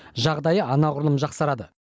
жағдайы анағұрлым жақсарады